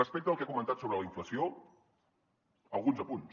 respecte al que ha comentat sobre la inflació alguns apunts